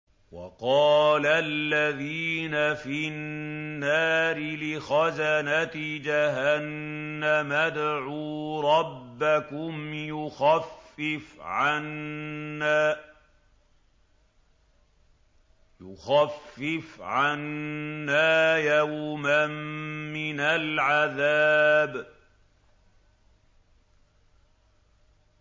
وَقَالَ الَّذِينَ فِي النَّارِ لِخَزَنَةِ جَهَنَّمَ ادْعُوا رَبَّكُمْ يُخَفِّفْ عَنَّا يَوْمًا مِّنَ الْعَذَابِ